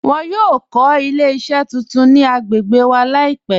Wọn yọ kọ ilẹ̀-iṣẹ tuntun ni agbègbè wa laipẹ̀